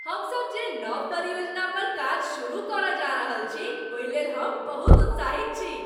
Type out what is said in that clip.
हमसभ जे नव परियोजना पर काज शुरू करय जा रहल छी ओहि लेल हम बहुत उत्साहित छी।